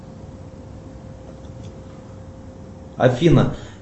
афина